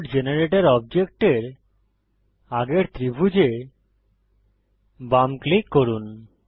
cloud generator অবজেক্টের আগের ত্রিভুজে বাম ক্লিক করুন